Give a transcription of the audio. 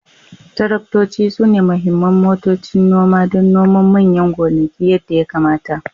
Taraktoci sune muhimman motocin noma don noman manyan gonaki yadda ya kamata